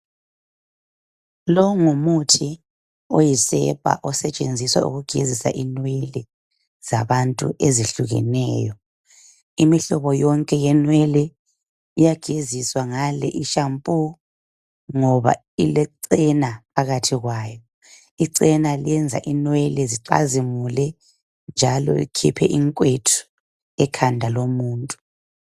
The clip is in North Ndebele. Lo ngumuthi oyisepa osetshenziswa ukugezisa inwele zabantu ezihlukeneyo imihlobo yonke yenwele iyageziswa ngale ishampoo ngoba ilechena phakathi kwayo ichena liyenza inwele zicazimule njalo likhiphe inkwethu ekhanda lomuntu